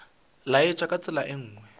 laetša ka tsela ye nngwe